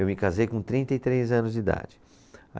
Eu me casei com trinta e três anos de idade.